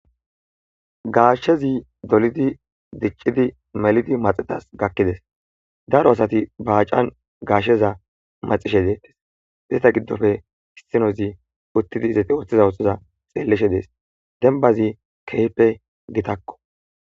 Gaashshezi dolidi diccidi melidi maxetas gakkides daro asati baacan gaashsheza maxishe deettes izeta giddofe hiinozi uttidi izete ooththeza oxoza xeelleshe dees denbazi kehpe gitakko.